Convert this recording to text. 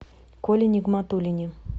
коле нигматуллине